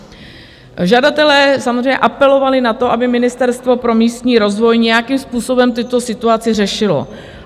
Žadatelé samozřejmě apelovali na to, aby Ministerstvo pro místní rozvoj nějakým způsobem tuto situaci řešilo.